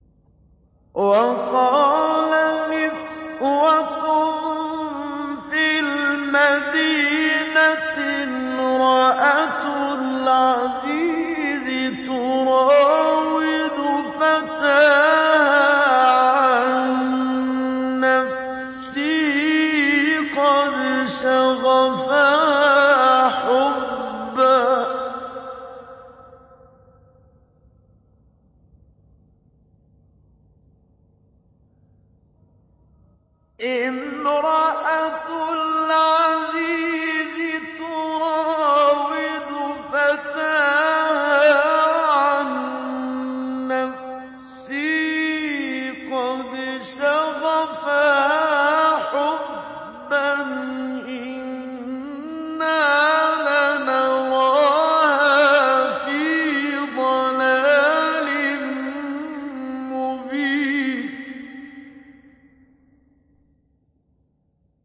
۞ وَقَالَ نِسْوَةٌ فِي الْمَدِينَةِ امْرَأَتُ الْعَزِيزِ تُرَاوِدُ فَتَاهَا عَن نَّفْسِهِ ۖ قَدْ شَغَفَهَا حُبًّا ۖ إِنَّا لَنَرَاهَا فِي ضَلَالٍ مُّبِينٍ